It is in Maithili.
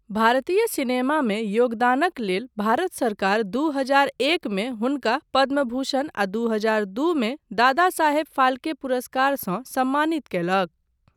भारतीय सिनेमामे योगदानक लेल भारत सरकार दू हजार एकमे हुनका पद्मभूषण आ दू हजार दूमे दादा साहेब फाल्के पुरस्कारसँ सम्मानित कयलक।